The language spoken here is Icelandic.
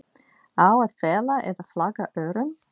Á að fela eða flagga örum?